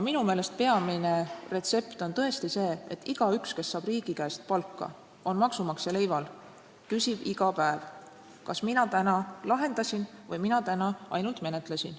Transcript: Minu meelest on peamine retsept tõesti see, et igaüks, kes saab riigi käest palka ja on maksumaksja leival, küsib iga päev, kas ta täna lahendas või ta täna ainult menetles.